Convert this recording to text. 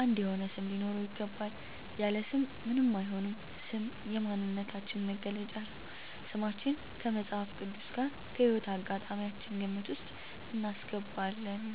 አንድ የሆነ ስም ሊኖረው ይገባል። ያለ ስም ምንም አይሆንም ስም የማንነታችን መገለጫ ነው። ስማችን ከመፅሀፍ ቅዱስ ጋር ከህይወት አጋጣሚያችን ግምት ውስጥ እናስገባለን